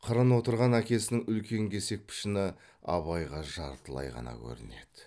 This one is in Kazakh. қырын отырған әкесінің үлкен кесек пішіні абайға жартылай ғана көрінеді